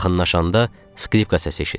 Yaxınlaşanda skripka səsi eşitdik.